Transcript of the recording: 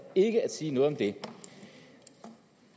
ikke at sige noget om det